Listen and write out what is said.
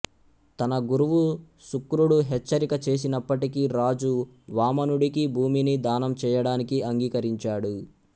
తన గురువు శుక్రుడు హెచ్చరిక చేసినప్పటికీ రాజు వామనుడికి భూమిని దానం చేయడానికి అంగీకరించాడు